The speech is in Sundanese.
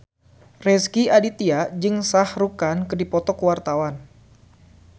Rezky Aditya jeung Shah Rukh Khan keur dipoto ku wartawan